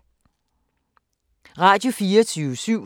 Radio24syv